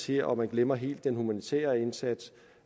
her og man glemmer helt den humanitære indsats